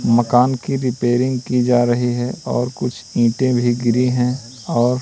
मकान की रिपेयरिंग की जा रही है और कुछ ईंटे भी गिरी हैं और--